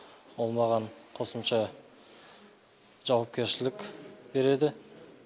ол маған қосымша жауапкершілік береді